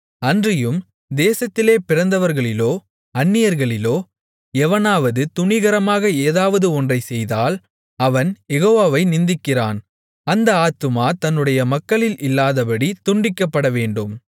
அன்றியும் தேசத்திலே பிறந்தவர்களிலோ அந்நியர்களிலோ எவனாவது துணிகரமாக ஏதாவது ஒன்றைச்செய்தால் அவன் யெகோவாவை நிந்திக்கிறான் அந்த ஆத்துமா தன்னுடைய மக்களில் இல்லாதபடி துண்டிக்கப்படவேண்டும்